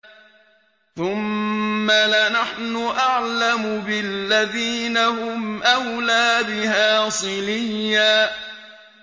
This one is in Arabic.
ثُمَّ لَنَحْنُ أَعْلَمُ بِالَّذِينَ هُمْ أَوْلَىٰ بِهَا صِلِيًّا